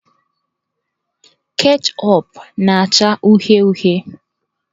Ketchup na-acha uhie uhie.